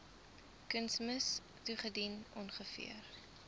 kunsmis toegedien ongeveer